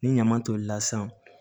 Ni ɲama tolila san